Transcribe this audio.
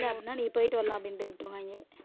அப்படின்னா நீங்க போயிட்டு வரலாம் அப்படின்னுட்டு விட்டிருவாங்க